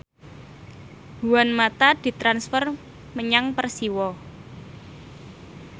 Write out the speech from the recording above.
Juan mata ditransfer menyang Persiwa